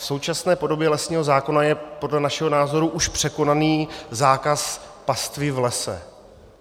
V současné podobě lesního zákona je podle našeho názoru už překonaný zákaz pastvy v lese.